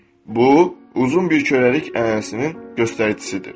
Bu uzun bir köləlik ənənəsinin göstəricisidir.